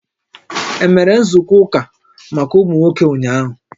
E mere nzukọ ụka maka ụmụ nwoke ụnyaahụ?